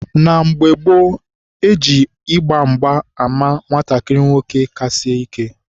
na mgbe gboo, e ji ịgba mgba ama nwatakịrị nwoke ka sie ike.